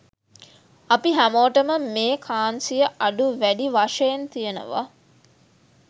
අපි හැමෝටම මේ කාන්සිය අඩු වැඩි වශයෙන් තියෙනව.